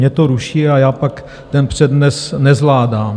Mě to ruší a já pak ten přednes nezvládám.